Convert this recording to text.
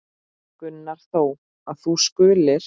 Gunnar þó, að þú skulir.